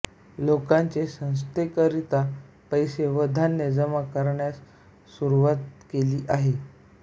लोकांनी संस्थेकरीता पैसे व धान्य जमा करण्यास सुरुवात केली आहे